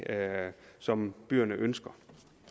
som byerne ønsker